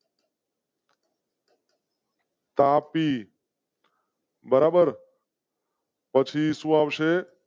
તાપી. બરાબર. પછી શું આવશે?